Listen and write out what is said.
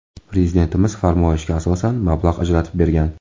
Prezidentimiz farmoyishga asosan mablag‘ ajratib bergan.